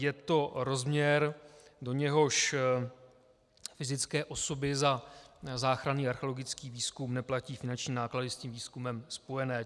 Je to rozměr, do něhož fyzické osoby za záchranný archeologický výzkum neplatí finanční náklady s tím výzkumem spojené.